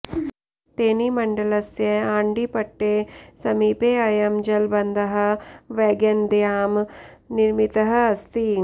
तेनिमण्डलस्य आण्डिपट्टे समीपे अयं जलबन्धः वैगैनद्यां निर्मितः अस्ति